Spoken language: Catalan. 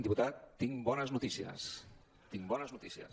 diputat tinc bones notícies tinc bones notícies